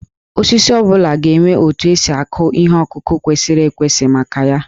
Osisi ọ bụla ga-enwe otu esi akụ ihe ọkụkụ kwesịrị ekwesị maka ya